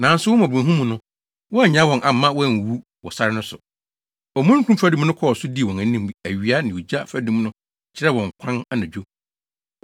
“Nanso wo mmɔborɔhunu mu no, woannyaa wɔn amma wɔanwuwu wɔ sare no so. Omununkum fadum no kɔɔ so dii wɔn anim awia, na ogya fadum no kyerɛɛ wɔn kwan anadwo.